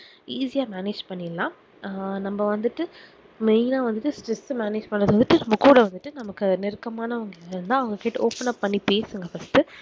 easy ஆஹ் manage பண்ணிர்லாம் ஆஹ் நம்ம வந்துட்டு main வந்துட்டு stress manage பண்ண வந்துட்டு book ஓட வந்துட்டு நம்ம நெருக்கமாணவங்க அவங்க கிட்ட open ஆஹ் பண்ணி பேசுங்க first